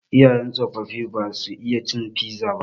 Iyayen mu tsofaffi ba su iya cin fiza ba.